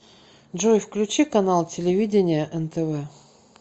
джой включи канал телевидения нтв